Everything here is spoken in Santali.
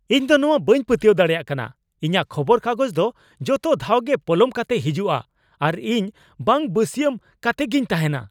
ᱤᱧᱫᱚ ᱱᱚᱶᱟ ᱵᱟᱹᱧ ᱯᱟᱹᱛᱭᱟᱹᱣ ᱫᱟᱲᱮᱭᱟᱜ ᱠᱟᱱᱟ ! ᱤᱧᱟᱹᱜ ᱠᱷᱚᱵᱚᱨ ᱠᱟᱜᱚᱡᱽᱫᱚ ᱡᱚᱛᱚ ᱫᱷᱟᱣᱜᱮ ᱯᱚᱞᱚᱢ ᱠᱟᱛᱮ ᱦᱤᱡᱩᱜᱼᱟ, ᱟᱨ ᱤᱧ ᱵᱟᱝ ᱵᱟᱹᱥᱭᱟᱹᱢ ᱠᱟᱛᱮᱜᱤᱧ ᱛᱟᱦᱮᱱᱟ ᱾